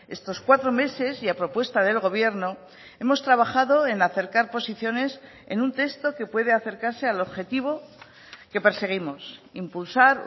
estos cuatro meses y a propuesta del gobierno hemos trabajado en acercar posiciones en un texto que puede acercarse al objetivo que perseguimos impulsar